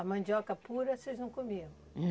A mandioca pura vocês não comiam?